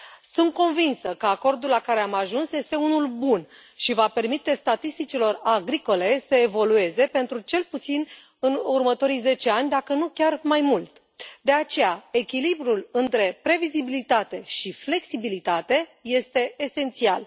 Sunt convinsă că acordul la care am ajuns este unul bun și va permite statisticilor agricole să evolueze pentru cel puțin următorii zece ani, dacă nu chiar mai mult, de aceea echilibrul între previzibilitate și flexibilitate este esențial.